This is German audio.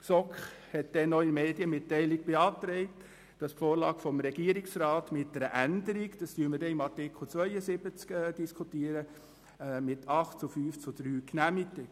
Die GSoK genehmigte denn auch mit 8 zu 5 Stimmen bei 3 Enthaltungen die Vorlage des Regierungsrats mit einer Änderung, die wir unter Artikel 72 diskutieren werden.